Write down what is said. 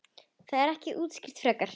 Það er ekki útskýrt frekar.